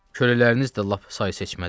Kölələriniz də lap say seçmədir.